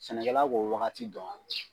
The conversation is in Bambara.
Sɛnɛkɛla b'o wagati dɔn